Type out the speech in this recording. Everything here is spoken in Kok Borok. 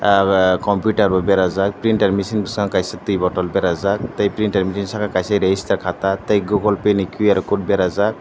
abo computer bo berajak printer mechine kaisa tui bottle kaisa berajak tai printer machine kaisa rajister kata tai Google pay ni qr code berajak.